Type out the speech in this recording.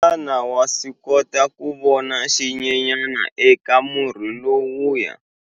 Xana wa swi kota ku vona xinyenyana eka murhi lowuya?